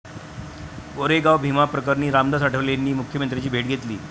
कोरेगाव भीमा प्रकरणी रामदास आठवलेंनी मुख्यमंत्र्यांची भेट घेतली